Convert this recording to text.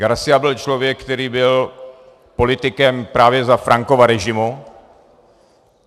García byl člověk, který byl politikem právě za Francova režimu.